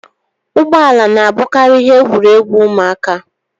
Ụgbọ ala na-abụkarị ihe egwuregwu ụmụaka